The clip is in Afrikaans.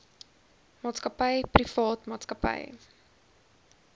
maatskappy privaat maatskappy